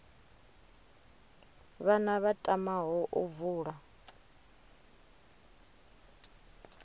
vhana vha tamaho u vula